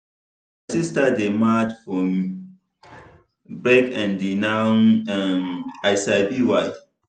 my sister dey mad for um break and now um i sabi why.